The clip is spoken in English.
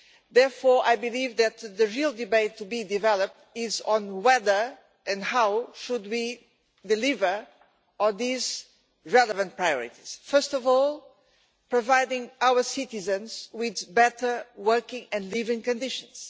Therefore, I believe that the real debate to be developed is on whether and how we should deliver on these relevant priorities, first of all providing our citizens with better working and living conditions.